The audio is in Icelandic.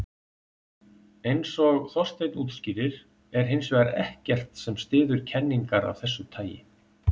Eins og Þorsteinn útskýrir er hins vegar ekkert sem styður kenningar af þessu tagi.